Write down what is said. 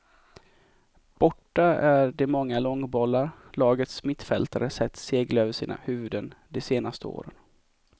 Borta är de många långbollar lagets mittfältare sett segla över sina huvuden de senaste åren.